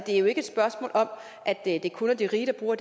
er jo ikke et spørgsmål om at det det kun er de rige der bruger